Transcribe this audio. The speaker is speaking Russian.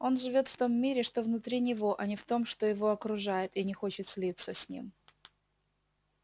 он живёт в том мире что внутри него а не в том что его окружает и не хочет слиться с ним